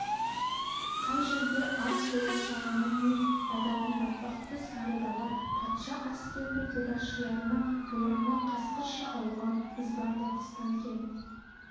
кей жерде ат толарсағына дейін бататын батпақты сары дала патша әскерінің қолбасшыларына бораны қасқырша ұлыған ызбарлы қыстан кем